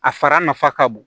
A fara nafa ka bon